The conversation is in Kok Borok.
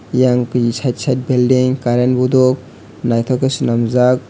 eyang kui site site belding current bodok naitok ke sanamjaak.